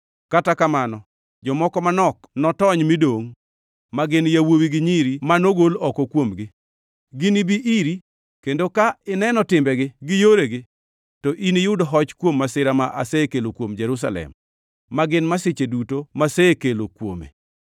Kata kamano, jomoko manok notony midongʼ, ma gin yawuowi gi nyiri ma nogol oko kuomgi. Ginibi iri, kendo ka ineno timbegi gi yoregi, to iniyud hoch kuom masira ma asekelo kuom Jerusalem, ma gin masiche duto masekelo kuome.